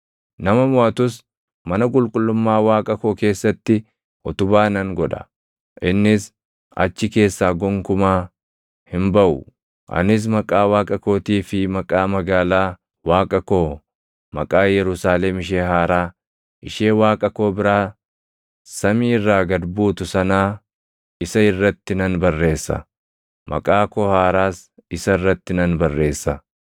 Nama moʼatus mana qulqullummaa Waaqa koo keessatti utubaa nan godha. Innis achi keessaa gonkumaa hin baʼu. Anis maqaa Waaqa kootii fi maqaa magaalaa Waaqa koo, maqaa Yerusaalem ishee haaraa, ishee Waaqa koo biraa samii irraa gad buutu sanaa isa irratti nan barreessa; maqaa koo haaraas isa irratti nan barreessa.